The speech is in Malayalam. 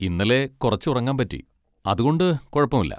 ഇന്നലെ കുറച്ച് ഉറങ്ങാൻ പറ്റി. അതുകൊണ്ട് കുഴപ്പമില്ല.